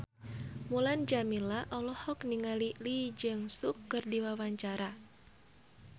Mulan Jameela olohok ningali Lee Jeong Suk keur diwawancara